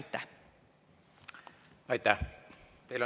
Aitäh!